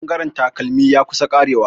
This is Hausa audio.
Bangaren takalmi ya kusan karewa.